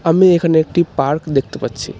আমি এখানে একটি পার্ক দেখতে পাচ্ছি।